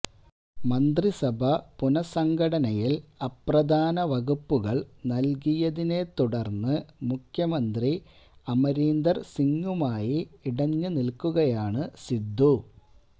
മന്ത്രിസഭാ പുനസംഘടനയിൽ അപ്രധാന വകുപ്പുകൾ നൽകിയതിനെ തുടർന്ന് മുഖ്യമന്ത്രി അമരീന്ദർ സിംഗുമായി ഇടഞ്ഞ് നിൽക്കുകയാണ് സിദ്ധു